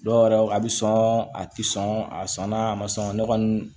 Dɔw yɛrɛ a bɛ sɔn a tɛ sɔn a sɔnna a ma sɔn ne kɔni